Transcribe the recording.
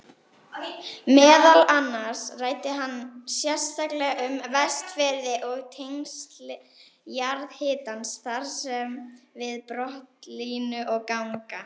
Meðal annars ræddi hann sérstaklega um Vestfirði og tengsl jarðhitans þar við brotlínur og ganga.